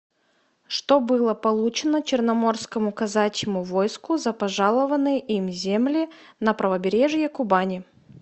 что было получено черноморскому казачьему войску за пожалованные им земли на правобережье кубани